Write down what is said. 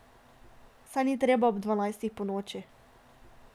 Saj ni treba ob dvanajstih ponoči.